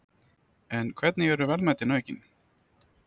En hvernig eru verðmætin aukin?